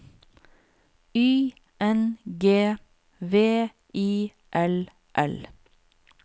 Y N G V I L L